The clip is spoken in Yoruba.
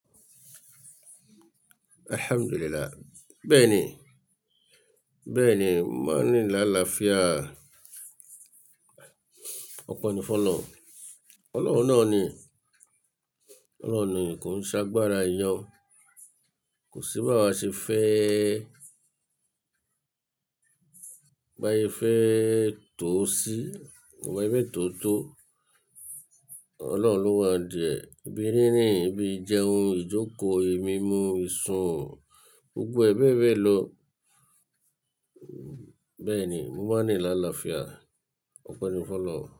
Alhamdulillah. Bẹ́ẹ̀ni, bẹ́ẹ̀ni, mo n rin n lálaafia. Ọpe ni fun Ọlọ́run. Ọlọ́run náà ni, Ọlọ́run ni ko ń ṣe agbára eyan. Kò sí bá wá ṣe fẹ́, bá sé fẹ́ tò sí, bá sé fẹ́ tò tò. Ọlọ́run ló wá n di ẹ. Ibi rírìn, ibi ìjẹun, ìjókòó, e mi mú, ìsun, gbogbo e bẹ́be ló. Bẹ́ẹ̀ni, mo máa rín n lálaafia. Ọpọ̀ ni fọ́n Ọlọ́run.